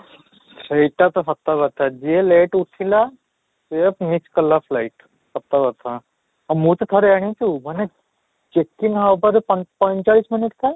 ସେଇଟା ତ ସତ କଥା ଯିଏ late ଉଠିଲା ସିଏ miss କଲା light ସତ କଥା, ଆଉ ମୁଁ ତ ଠାରେ ଯାଇଛୁ ମାନେ ହେବାରେ ପଞ୍ଚ ପଞ୍ଚାଳିଶ minute ଥାଏ